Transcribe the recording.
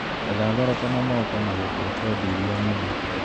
Getha thoroko na moko na gũtua podi iria nyũmũ